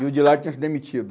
E o de lá tinha se demitido.